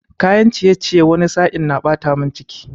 Kayan ciyeciye wani sa'in na ɓata mun ciki